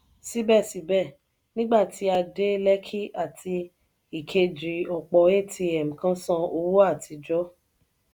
sibẹsibẹ nígbà tí a dé lekki àti ìkejì ọpọ atm kan san owó àtijọ.